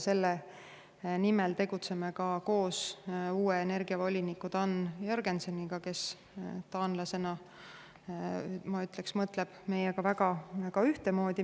Selle nimel tegutseme ka koos uue energiavoliniku Dan Jørgenseniga, kes taanlasena, ma ütleksin, mõtleb meiega väga ühtemoodi.